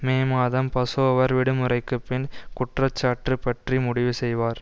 மே மாதம் பசோவர் விடுமுறைக்குப்பின் குற்றச்சாட்டு பற்றி முடிவு செய்வார்